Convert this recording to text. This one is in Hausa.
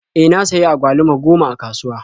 E, na sayi agwaluma goma a kasuwa.